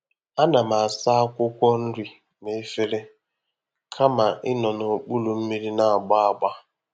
A na m asa akwụkwọ nri n'efere kama ịnọ n'okpuru mmiri na-agba agba.